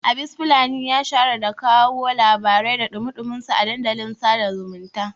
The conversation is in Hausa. Abis fulani ya shahara da kawo labarai da ɗumi-ɗuminsu a dandalin sada zumunta